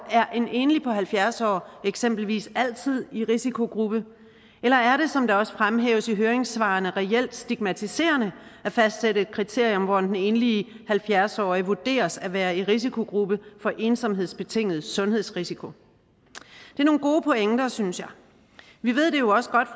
er en enlig på halvfjerds år eksempelvis altid i risikogruppe eller er det som det også fremhæves i høringssvarene reelt stigmatiserende at fastsætte et kriterium hvor den enlige halvfjerds årige vurderes at være i risikogruppe for ensomhedsbetinget sundhedsrisiko det er nogle gode pointer synes jeg vi ved det jo også godt